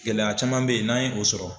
Gɛlɛya caman bɛ ye n'an ye o sɔrɔ